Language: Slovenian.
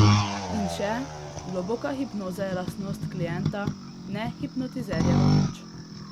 In še, globoka hipnoza je lastnost klienta, ne hipnotizerjeva moč.